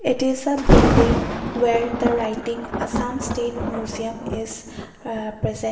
it is a building where the writing assam state museum is a present.